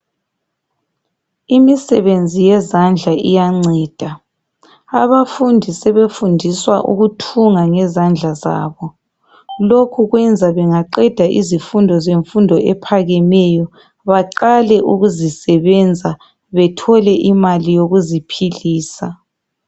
Imisebenzi yezandla iyanceda abafundi sebefundiswa ukuthunga ngezandla zabo. Lokhu kwenza bengaqeda izifundo zemfundo ephakemeyo baqale ukuzisebenza bethole imali yokuziphilisa.